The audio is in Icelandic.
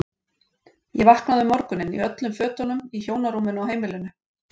Ég vaknaði um morguninn í öllum fötunum í hjónarúminu á heimilinu.